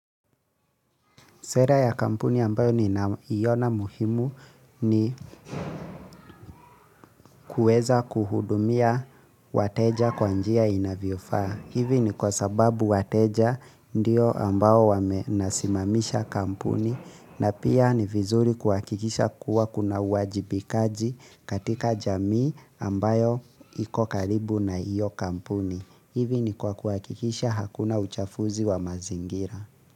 Sera ya kampuni ambayo ninao iona muhimu ni kueza kuhudumia wateja kwa njia inavyofaa. Hivi ni kwa sababu wateja ndio ambao wame nasimamisha kampuni na pia ni vizuri kuhakikisha kuwa kuna wajibikaji katika jamii ambayo iko karibu na iyo kampuni. Hivi ni kwa kuakikisha hakuna uchafuzi wa mazingira.